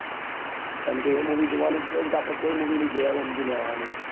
કેમ કે એ movie જોવા ની જઈએ તો આપડે કો movie ની જોયા એવું સમજી લેવાનું.